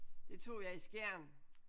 Det tog jeg i Skjern